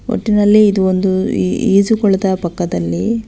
ಒಟ್ಟಿನಲ್ಲಿ ಇದು ಒಂದು ಈ-ಈಜುಕೊಳದ ಪಕ್ಕದಲ್ಲಿ--